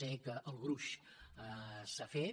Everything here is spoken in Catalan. sé que el gruix s’ha fet